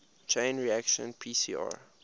chain reaction pcr